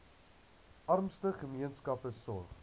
armste gemeenskappe sorg